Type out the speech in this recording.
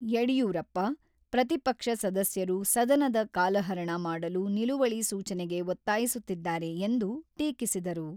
ಯಡಿಯೂರಪ್ಪ, ಪ್ರತಿಪಕ್ಷ ಸದಸ್ಯರು ಸದನದ ಕಾಲಹರಣ ಮಾಡಲು ನಿಲುವಳಿ ಸೂಚನೆಗೆ ಒತ್ತಾಯಿಸುತ್ತಿದ್ದಾರೆ ಎಂದು ಟೀಕಿಸಿದರು.